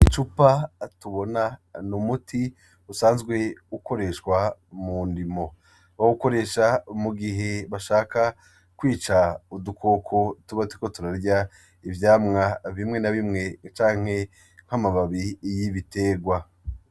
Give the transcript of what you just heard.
Icupa tubona , n'umuti usanzwe ukoreshwa mundimo , bawukoresha mugihe bashaka kwica udukoko tuba turiko turarya ivyamwa bimwe na bimwe canke nk'amababi y'ibiterwa.